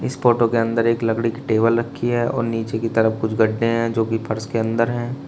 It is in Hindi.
इस फोटो के अंदर एक लकड़ी की टेबल रखी है और नीचे की तरफ कुछ गड्ढे हैं जो की फर्श के अंदर हैं।